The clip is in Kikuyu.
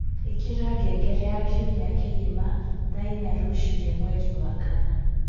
ĩkĩra ngengere ya kĩumĩa kigima thaa ĩnya rũcĩĩnĩ mwerĩ wa kana